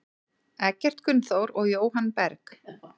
Eggert Gunnþór og Jóhann Berg.